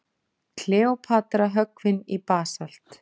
Kleópatra höggvin í basalt.